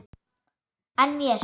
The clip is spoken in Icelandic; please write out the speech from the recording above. En mér?